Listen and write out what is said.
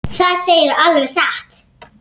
ÞAÐ SEGIRÐU ALVEG SATT.